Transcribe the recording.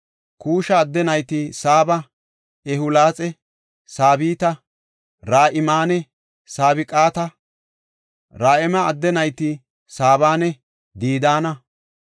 Kuusha adde nayti Saaba, Ewulaaxe, Sabita, Ra7imanne Sabqata. Ra7ima adde nayti Saabanne Didaana.